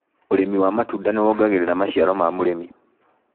ũrĩmi wa matunda nĩwongagĩrira maciaro ma mũrĩmi.